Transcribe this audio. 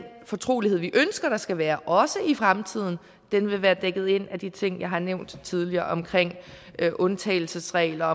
fortrolighed vi ønsker der skal være også i fremtiden vil være dækket ind af de ting jeg har nævnt tidligere om undtagelsesregler